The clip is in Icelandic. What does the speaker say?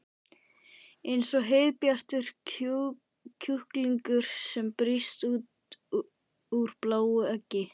Eins og heiðbjartur kjúklingur sem brýst úr bláu eggi.